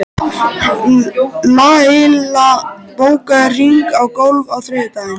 Laila, bókaðu hring í golf á þriðjudaginn.